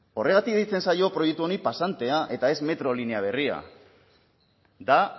horregatik deitzen zaio proiektu honi pasantea eta ez metro linea berria da